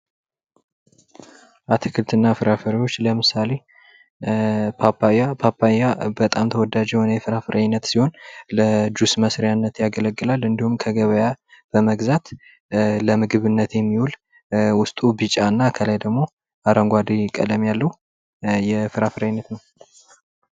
አትክልትና ፍራፍሬዎች ለምሳሌ ፓፓያ፦ ፓፓያ በጣም ተወዳጅ ሆነ የፍራፍሬ አይነት ሲሆን ለጁስ መስሪያነት ያገለግላል እንዲሁም ከገበያ በመግዛት ለምግብነት የሚውል ውስጡ ቢጫ የሆነና ከላይ አረንጓዴ ቀለም ያለው የፍራፍሬ አይነት ነው።